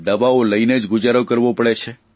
દવાઓ લઇને જ ગુજારો કરવો પડે છે